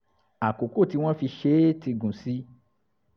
àkókò tí wọ́n fi ṣe é ti gùn sí i